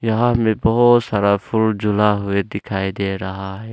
यहां में बहोत सारा फुल झूला हुए दिखाई दे रहा है।